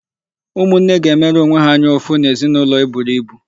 Ụmụnne ga-emere onwe ha anya ụfụ n'ezinụlọ eburu ibu.